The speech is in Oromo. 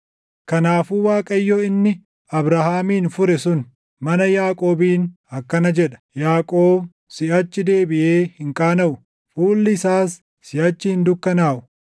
Kanaafuu Waaqayyo inni Abrahaamin fure sun mana Yaaqoobiin akkana jedha: “Yaaqoob siʼachi deebiʼee hin qaanaʼu; fuulli isaas siʼachi hin dukkanaaʼu.